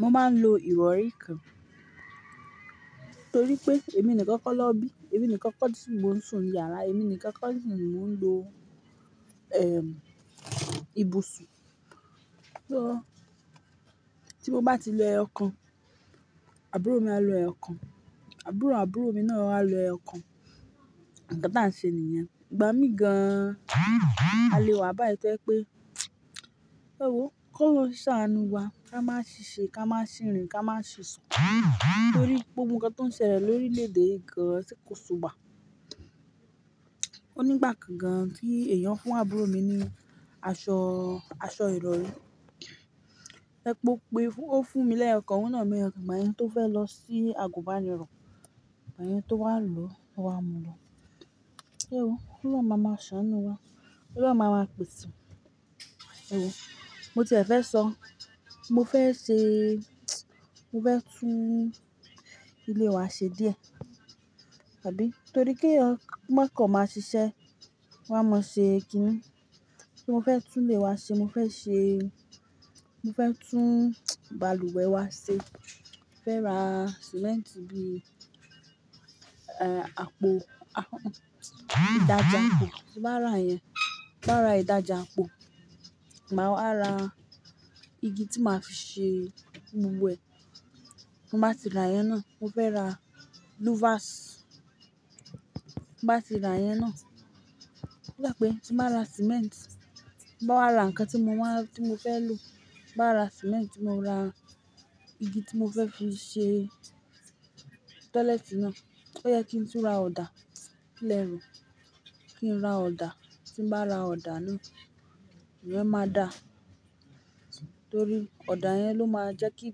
Mo máa ń lo ìrọ̀rí kan torí pé èmi nìkan kọ́ ná bí, èmi nìkan kọ́ ni mò ń sùn ní yàrá, èmi nìkan kọ́ ni mò ń lo, ehn, ibùsùn. So tí mo bá ti lo ẹyọ kan, àbúrò mi á lo ẹyọ kan, àbúrò àbúrò mi náà á lo ẹyọ kan. Nǹkan táà ń ṣe niyẹ̀n ìgbà míhìn gan. A lè wà báyìí tẹ́ pé, ẹ wòó, k'Ọ́lọ́un ṣàánú wa, ká má ṣì ṣe, ká má ṣì rìn, ká má ṣì sùn torí gbogbo nǹkan tó ń ṣẹlẹ̀ lórí lórílẹ̀ èdè yìí gan an ṣé kò súwa. Ó nígbà kan gan tí èèyàn fún àbúrò mi ní aṣọ, aṣọ ìrọrí. Ẹ́pó pé ó fún mi lẹ́yọ kan, òun náà mú ẹyọ kan, gbàyẹn tó fẹ́ lọ sí àgùnbánirọ̀, gbà yẹn tó wà ń lòó ó wá mu lọ. Ẹ wòó, Ọlọ́run ma ma ṣàánú wa, Ọlọ́run ma ma pèsè. Ẹ wòó, mo ti ẹ fẹ́ sọ, mo fẹ́ ṣe e, mo fẹ́ tún ilé wa ṣe díẹ̀. Àbí, torí kéyàn mọ́ kan máa ṣiṣẹ́, wọ́n a mọ́ọ ṣe kínní. Mo fẹ́ tún ilé e wa ṣe, mo fẹ́ ṣe, mo fẹ́ tún bàlùwẹ̀ wa ṣe. Mo fẹ́ ra sìmẹ́ǹtì bíi, ehn, àpò, ìdájì àpò. Tí hin bá rà yẹn, tí n bá ra ìdájì àpò, màá wá ra igi tí màá fi ṣe gbogbo ẹ̀. Mo bá ti ra ìyẹn náà, mo fẹ́ ra luvas. Tí n bá ti ra ìyẹn náà, ó dà pé tí mo bá ra símẹ́ǹtì, ti n bá wá ra nǹkan tí mo wá, tí mo fẹ́ lò. Tí n bá ra símẹ́ntì, tí mo ra igi tí mo fẹ́ fi ṣe tọ́lẹ́ẹ̀tì náà. Ó yẹ kí n tún ra ọ̀dà, kí lẹ rò? Kí n ra ọ̀dà. Tí n bá ra ọ̀dà náà, ìyẹn máa da torí ọ̀dà yẹn ló máa jẹ́ kí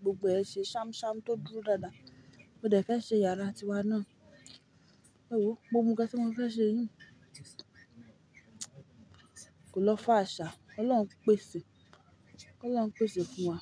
gbogbo ẹ ṣe ṣámṣám kó dúró dáadáa. Mo dẹ̀ fẹ́ ṣe yàrá tiwa náà. Ẹ wòo, gbogbo ǹkan tí mo fẹ́ ṣe yìí kò lọ fáà ṣá. Ọlọ́run pèsè, Ọlọ́run pèsè fún wa.